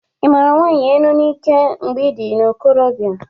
I mara nwanyị enu n'ike mgbe ị dị n'ikorobịa?